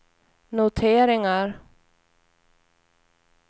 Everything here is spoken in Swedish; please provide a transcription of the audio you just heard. noteringar